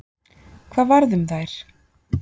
Hvað varð um þær?